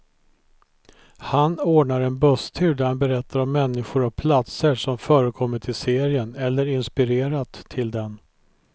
Han ordnar en busstur där han berättar om människor och platser som förekommit i serien, eller inspirerat till den.